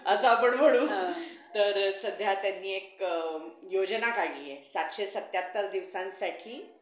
असं आपण म्हणू तर सध्या त्यांनी एक योजना काढलीये, सातशे सत्त्याहत्तर दिवसांसाठी